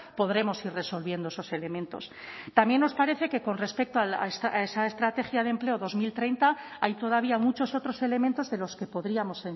podremos ir resolviendo esos elementos también nos parece que con respecto a esa estrategia de empleo dos mil treinta hay todavía muchos otros elementos de los que podríamos